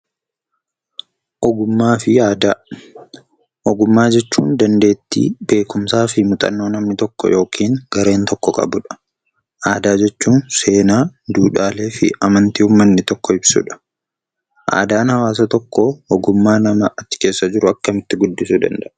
Ogummaafi aadaa: oggummaa jechuun; dandeetti, beekumsafi muuxannoo namni tokko ykn gareen tokko qabudha. aadaa jechuun; seenaa, duudhaaleefi amantaa uummaanni tokko ibsudha. Aadaan hawaasa tokko ogummaa nama achi keessa jiru akkamitti guddisuu danda'aa?